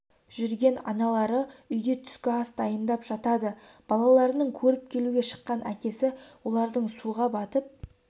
жүрген аналары үйде түскі ас дайындап жатады балаларының көріп келуге шыққан әкесі олардың суға батып